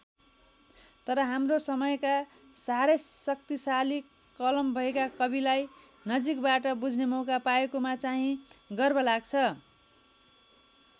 तर आफ्नो समयका साह्रै शक्तिशाली कलम भएका कविलाई नजिकबाट बुझ्ने मौका पाएकोमा चाहिँ गर्व लाग्छ।